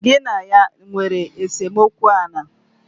Ị na ya nwere esemokwu ala?